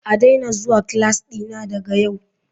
A daina zuwa class dina daga yau.